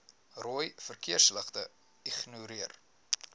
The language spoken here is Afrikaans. rooi verkeersligte ignoreer